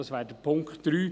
Dies wäre der Punkt 3;